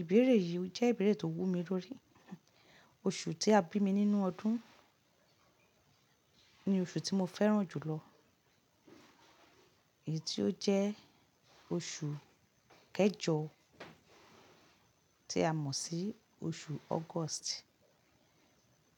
Ìbéèrè yìí jẹ́ ìbéèrè tó wú mi lórí. Oṣù tí a bí mi nínú ọdún ni oṣù tí mo fẹ́ràn jù lọ èyí tí ó jẹ́ oṣù kẹjọ tí a mọ̀ sí oṣù August.